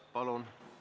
Palun!